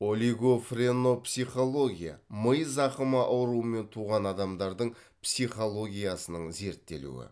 олигофренопсихология ми зақымы ауруымен туған адамдардың психологиясының зерттелуі